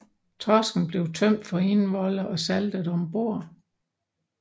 Torsken blev tømt for indvolde og saltet om bord